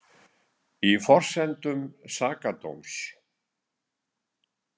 Í forsendum sakadóms.